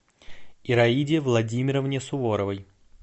ираиде владимировне суворовой